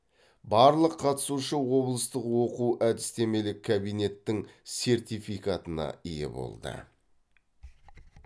барлық қатысушы облыстық оқу әдістемелік кабинетің сертификатына ие болды